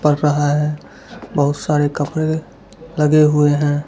पर रहा है बहुत सारे कपड़े लगे हुए हैं।